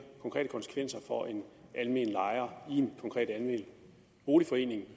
konkrete konsekvenser for en almen lejer i en konkret almen boligforening